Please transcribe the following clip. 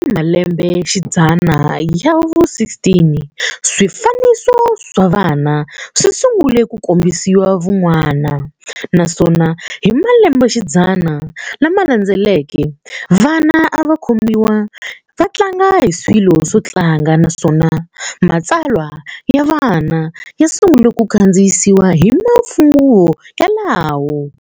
Malembexidzana ya vu 16, swifaniso swa vana swisungule ku kombisa vun'wana, naswona hi malembexidzana lamalandzeleke, vana avakombiwa vatlanga hi swilo swotlanga naswona matsalwa yavana ya sungule ku kadziyisiwa hi manguva yalawo.